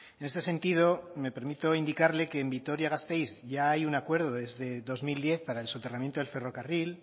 en este sentido me permito indicarle que en vitoria gasteiz ya hay un acuerdo desde dos mil diez para el soterramiento del ferrocarril